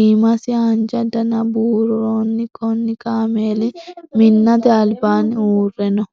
Iimasi haanja danna buuroonni. Kunni kaameeli minnate albaanni uure no.